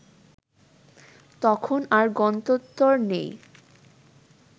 তখন আর গন্ত্যন্তর নেই